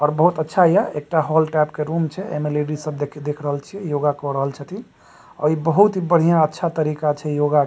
और बहुत अच्छा हिया एकटा हॉल टाइप के रूम छै एमें लेडीज सब देख देख रहल छीये योगा कर रहल छथीन और इ बोहोत ही बढियाँ अच्छा तरीका छै योग के--